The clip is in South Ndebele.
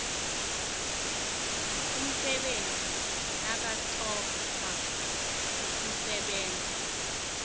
umsebenzi nakathoma ukusebenza